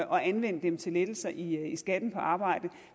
at anvende dem til lettelser i skatten på arbejde